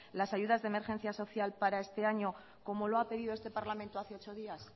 las ayudas de emergencia social para este año como lo ha pedido este parlamento hace ocho días